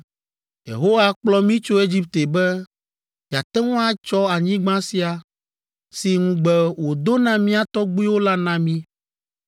Yehowa kplɔ mí tso Egipte be yeate ŋu atsɔ anyigba sia, si ŋugbe wòdo na mía tɔgbuiwo la na mí.